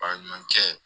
A ni ɲɔgɔn cɛ